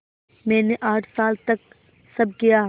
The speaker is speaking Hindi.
मैंने आठ साल तक सब किया